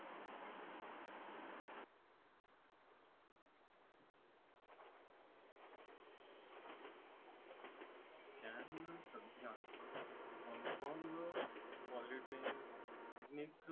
चानना सध्या Hong Kong polytechnic